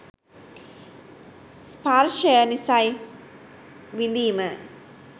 ස්පර්ශය නිසයි විඳීම